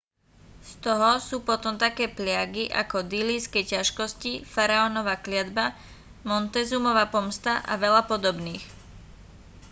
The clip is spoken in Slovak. z toho sú potom také pliagy ako dillíjské ťažkosti faraónova kliatba montezumova pomsta a veľa podobných